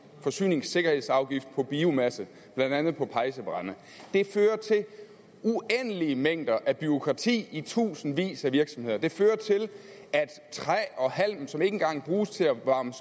forsyningssikkerhedsafgift på biomasse blandt andet på pejsebrænde det fører til uendelige mængder af bureaukrati i tusindvis af virksomheder det fører til at træ og halm som ikke engang bruges til at varme